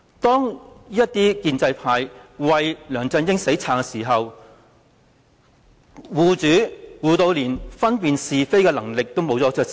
建制派為梁振英"死撐"，護主的程度是連分辨是非的能力也盡失。